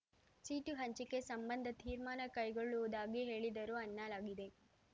seat ಹಂಚಿಕೆ ಸಂಬಂಧ ತೀರ್ಮಾನ ಕೈಗೊಳ್ಳುವುದಾಗಿ ಹೇಳಿದರು ಅನ್ನಲಾಗಿದೆ